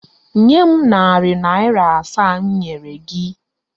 Nye m narị naịra asaa m nyere gị!